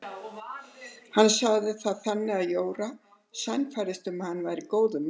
Hann sagði það þannig að Jóra sannfærðist um að hann væri góður maður.